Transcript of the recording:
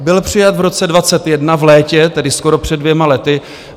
Byl přijat v roce 2021 v létě, tedy skoro před dvěma lety.